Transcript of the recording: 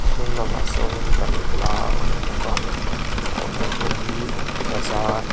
a hnung lamah sawn in balhla a awm bawk a a awmna hmun hi bazaar --